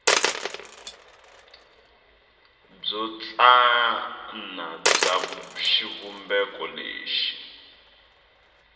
byo tsana bya xivumbeko lexi